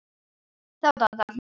Þá datt allt niður.